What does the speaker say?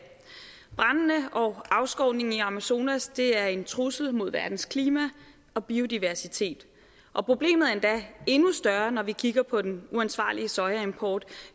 brandene og afskovningen i amazonas er en trussel mod verdens klima og biodiversitet og problemet er endda endnu større når vi kigger på den uansvarlige sojaimport